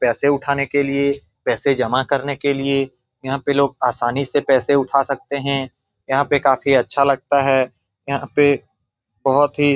पैसे उठाने के लिए पैसे जमा करने के लिए यहाँ पे लोग आसानी से पैसे उठा सकते है यहाँ पे काफी अच्छा लगता है यहाँ पे बहुत ही --